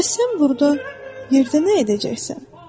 Bəs sən burda yerdə nə edəcəksən?